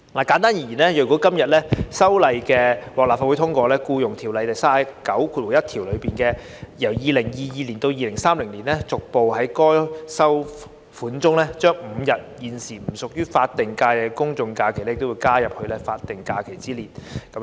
簡單而言，如果《條例草案》獲立法會通過，便會修訂《僱傭條例》第391條，由2022年起至2030年，逐步將5日現時不屬於法定假日的公眾假期加入法定假日之列。